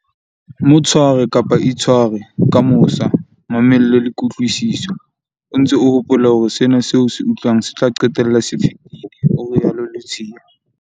"Mo tshware, kapa itshware, ka mosa, mamello le kutlwisiso, o ntse o hopola hore sena seo o se utlwang se tla qetella se fetile," o rialo Ludziya.